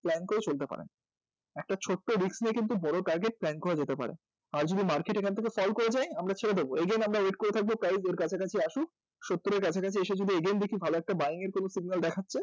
plan করে চলতে পারেন একটা ছোট্ট risk নিয়ে কিন্তু বড় কাজের plan করা যেতে পারে আর যদি market এখান থেকে fall করে যায় আমরা ছেড়ে দেব again আমরা wait করে থাকব price এর কাছাকাছি আসুক সত্তর এর কাছাকাছি এসে পরে যদি দেখি কোনো buying এর signal দেখা যাচ্ছে